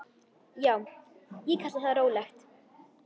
Já, ég kalla það rólegt.